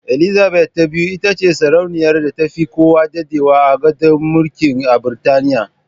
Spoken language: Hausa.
Elizabeth ta biyu itace sarauniyar da tafi kowa daɗewa a gadon mulki a Biritaniya.